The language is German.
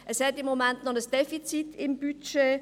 Es hat im Moment noch ein Defizit im Budget;